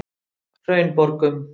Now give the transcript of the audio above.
Hraunborgum